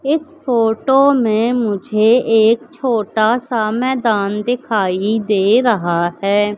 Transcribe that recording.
इस फोटो में मुझे एक छोटा सा मैदान दिखाई दे रहा है।